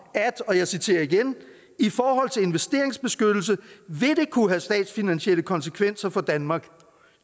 at og jeg citerer igen i forhold til investeringsbeskyttelse vil det kunne have statsfinansielle konsekvenser for danmark